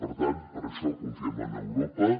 per tant per això confiem en europa